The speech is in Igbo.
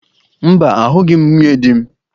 Mba, ahụghị m nwunye di m.